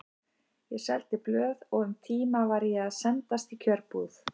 Ég seldi blöð og um tíma var ég að sendast í kjötbúð.